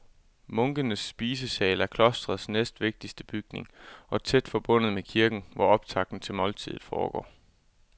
Munkenes spisesal er klostrets næstvigtigste bygning og tæt forbundet med kirken, hvor optakten til måltidet foregår.